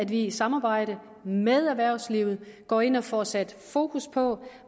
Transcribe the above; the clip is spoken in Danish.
vi i samarbejde med erhvervslivet går ind og får sat fokus på